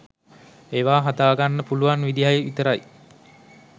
ඒවා හදාගන්න පුළුවන් විදියයි විතරයි